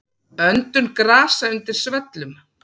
Öndun grasa undir svellum.